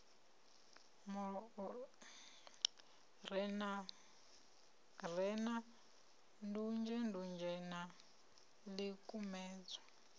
re na ndunzhendunzhe na ḽikumedzwa